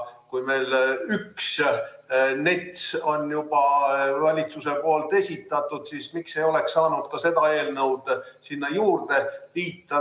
Kui meil üks NETS on juba valitsuse poolt esitatud, siis miks ei oleks saanud seda eelnõu sinna juurde liita?